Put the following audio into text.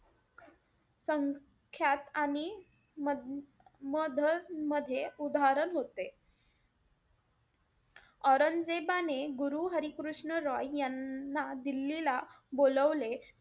संख्यात आणि मा~ मध्ये उधाहरण होते. औरंगजेबाने गुरु हरिकृष्ण रॉय यांना दिल्लीला बोलवले.